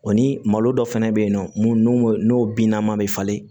O ni malo dɔ fɛnɛ be yen nɔ mun n'o n'o binnaman bɛ falen